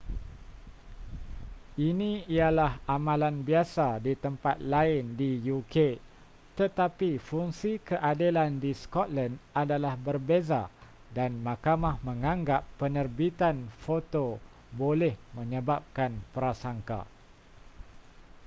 ini ialah amalan biasa di tempat lain di uk tetapi fungsi keadilan di scotland adalah berbeza dan mahkamah menganggap penerbitan foto boleh menyebabkan prasangka